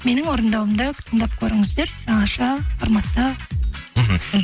менің орындауымда тыңдап көріңіздер жаңаша форматта мхм